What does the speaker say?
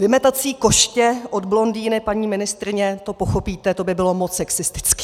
Vymetací koště od blondýny - paní ministryně, to pochopíte - to by bylo moc sexistické.